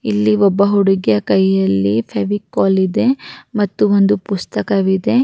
ಇಲ್ಲಿ ಒಬ್ಬ ಹುಡುಗಿಯ ಕೈ ಅಲ್ಲಿ ಫೆವಿಕಾಲ್ ಇದೆ ಮತ್ತು ಒಂದು ಪುಸ್ತಕವಿದೆ-